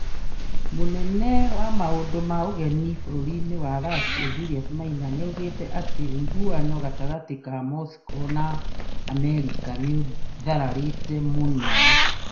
Mũnene wa maũndũ ma ũgeni-inĩ bũrũri-inĩ wa Russia Julius Maina, nĩaugĩte atĩ ũiguano gatagatĩ ka Moscow na Amerika nĩũthararĩte mũno